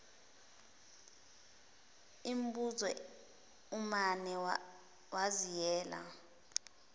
imbuzi umane waziyela